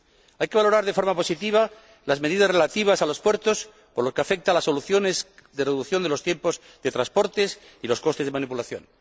Hay que valorar de forma positiva las medidas relativas a los puertos por lo que afecta a las soluciones de reducción de los tiempos de transporte y los costes de manipulación.